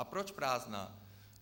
A proč prázdná?